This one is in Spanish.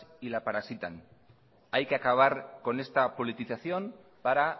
y la parasitan hay que acabar con esta politización para